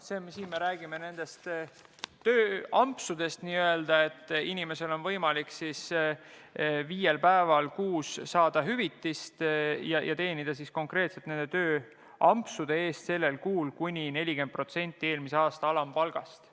Jutt nendest n-ö tööampsudest, mille puhul hüvitist saaval inimesel on võimalik viiel päeval kuus saada tasu konkreetselt nende tööampsude eest, kui ta teenib nendega kuni 40% eelmise aasta alampalgast.